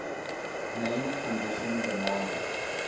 main condition demanded